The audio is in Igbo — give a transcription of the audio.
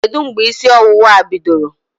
Kedụ mgbe ísí ọwụwạ a bidoro?